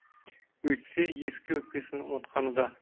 өйтсе ескі өкпесін ұмытқаны да